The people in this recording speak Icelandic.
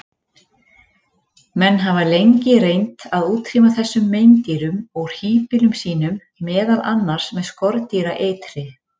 Menn hafa lengi reynt að útrýma þessum meindýrum úr híbýlum sínum, meðal annars með skordýraeitri.